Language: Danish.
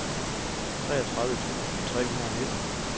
treogtredive tusind tre hundrede og nitten